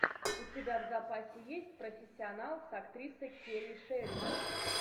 у тебя в запасе есть профессионал с актрисой келли шеридан